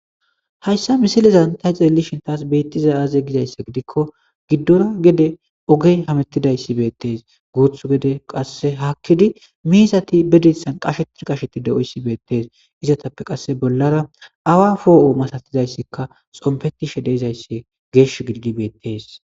Hayssa misilezan ta ceellishin taas beettiza aaze gizayssa gidikko giddora gede ogey hamettidayssi beettees guuthu gede qasse haakkidi miisati bedissan qashetir qasheti de'oyssibeettees izatappe qasse bollara awa foo'o masatizayssikka xompetishe deezayssi geesh gilgibeettees.